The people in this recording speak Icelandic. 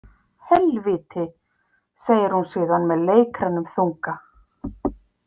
Helvíti, segir hún síðan með leikrænum þunga.